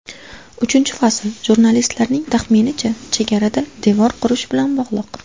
Uchinchi fasl, jurnalistlarning taxminicha, chegarada devor qurish bilan bog‘liq.